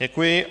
Děkuji.